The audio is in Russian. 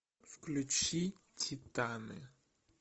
включи титаны